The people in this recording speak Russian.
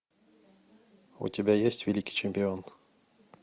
у тебя есть великий чемпион